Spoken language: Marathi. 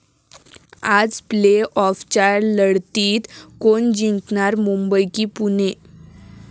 आज प्ले आॅफच्या लढतीत कोण जिंकणार? मुंबई की पुणे?